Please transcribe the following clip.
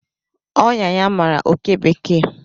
Ọnyá ya mara oké bekee